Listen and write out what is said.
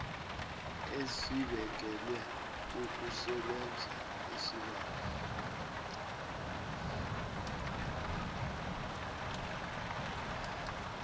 esibekelwe ukusebenza isibawo